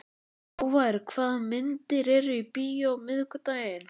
Hávar, hvaða myndir eru í bíó á miðvikudaginn?